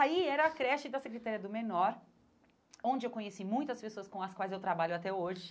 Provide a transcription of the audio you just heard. Aí era a creche da Secretaria do Menor, onde eu conheci muitas pessoas com as quais eu trabalho até hoje.